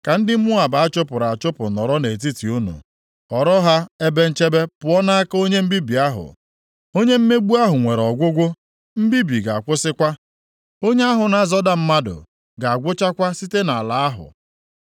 Ka ndị Moab achụpụrụ achụpụ nọrọ nʼetiti unu, ghọrọ ha ebe nchebe pụọ nʼaka onye mbibi ahụ.” Onye mmegbu ahụ nwere ọgwụgwụ, mbibi ga-akwụsịkwa, onye ahụ na-azọda mmadụ ga-agwụchakwa site nʼala ahụ.